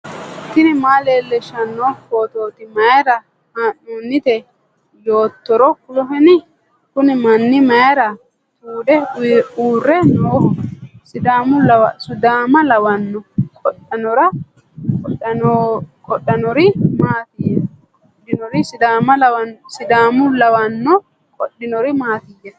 tini maa leellishshanno phootooti mayra haa'noonnite yoottoro kuloheni ? kuni manni mayra tuude uurre nooho ? sidaama lawanno ? qodhinori maatiyya ?